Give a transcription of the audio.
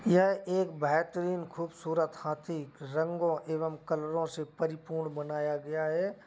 यह एक बेहतरीन खूबसूरत हाथी रंगों एवं कलरों से परिपूर्ण बनाया गया है।